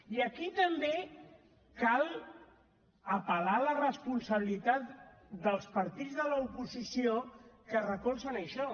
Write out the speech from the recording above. i aquí també cal apel·lar a la responsabilitat dels partits de l’oposició que recolzen això